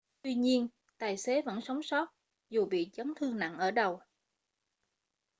tuy nhiên tài xế vẫn sống sót dù bị chấn thương nặng ở đầu